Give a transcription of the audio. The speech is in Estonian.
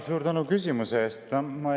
Suur tänu küsimuse eest!